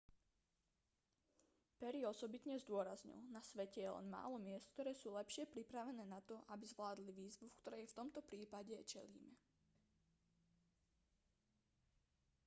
perry osobitne zdôraznil na svete je len málo miest ktoré sú lepšie pripravené na to aby zvládli výzvu ktorej v tomto prípade čelíme